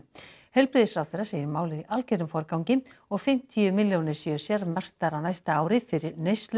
heilbrigðisráðherra segir málið í algerum forgangi og fimmtíu milljónir séu sérmerktar á næsta ári fyrir